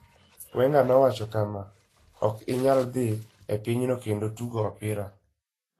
Wenger nowacho kama, "Ok inyal dhi e pinyno kendo tugo opira.